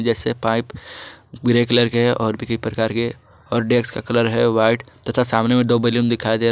ऐसे pipe grey colour के और किसी प्रकार के और डेक्स का कलर है व्हाइट तथा सामने में दो बैलून दिखाई दे रहा--